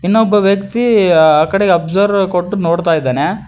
ಇನ್ನೊಬ್ಬ ವ್ಯಕ್ತಿ ಆ ಕಡೆ ಅಬ್ಸರ್ವ್ ಕೊಟ್ಟು ನೋಡ್ತಾ ಇದ್ದಾನೆ.